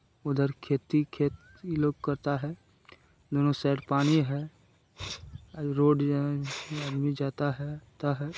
उधर खेती खेत लोग करता है दोनों साइड पानी है रोड जो है जाता है।